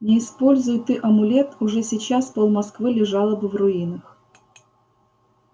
не используй ты амулет уже сейчас пол москвы лежало бы в руинах